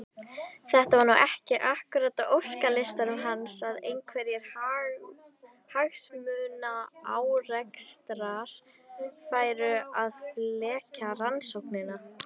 Þetta var nú ekki akkúrat á óskalistanum hans að einhverjir hagsmunaárekstrar færu að flækja rannsóknina.